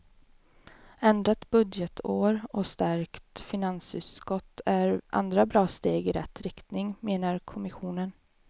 Ändrat budgetår och stärkt finansutskott är andra bra steg i rätt riktning, menar kommissionen.